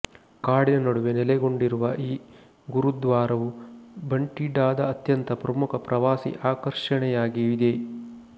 ಕಾಡಿನ ನಡುವೆ ನೆಲೆಗೊಂಡಿರುವ ಈ ಗುರುದ್ವಾರವು ಬಟಿಂಡಾದ ಅತ್ಯಂತ ಪ್ರಮುಖ ಪ್ರವಾಸಿ ಆಕರ್ಷಣೆಯಾಗಿದೆ